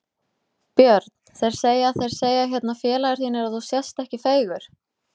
Björn: Þeir segja Þeir segja hérna félagar þínir að þú sést ekki feigur?